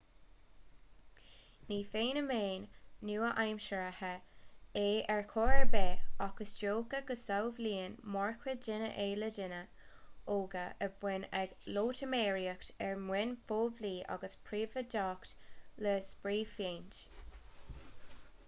ní feiniméan nua-aimseartha é ar chor ar bith ach is dócha go samhlaíonn mórchuid daoine é le daoine óga a bhíonn ag loitiméireacht ar mhaoin phoiblí agus phríobháideach le spraephéint